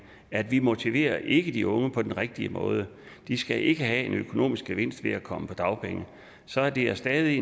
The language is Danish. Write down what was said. at vi motiverer ikke de unge på den rigtige måde de skal ikke have en økonomisk gevinst ved at komme på dagpenge så det er stadig